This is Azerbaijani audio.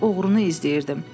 Mən oğrunu izləyirdim.